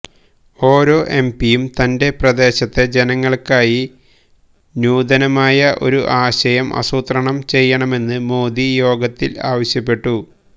ഓരോ എംപിയും തന്റെ പ്രദേശത്തെ ജനങ്ങള്ക്കായി നൂതനമായ ഒരു ആശയം ആസൂത്രണം ചെയ്യണമെന്ന് മോദി യോഗത്തില് ആവശ്യപ്പെട്ടു